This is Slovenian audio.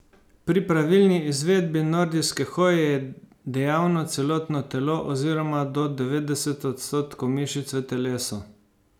Pri pravilni izvedbi nordijske hoje je dejavno celotno telo oziroma do devetdeset odstotkov mišic v telesu.